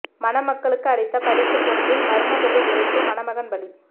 மணமக்களுக்கு அளித்த பரிசு பொருளில் மர்ம பொருள் வெடித்து மணமகன் பலி